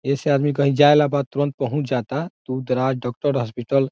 ए से आदमी कही जाला बा तुरंत पहुंच जाता दूर-दराज डॉक्टर हॉस्पिटल --